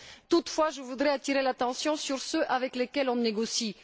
Toutefois, je voudrais attirer l'attention sur ceux avec lesquels on négocie.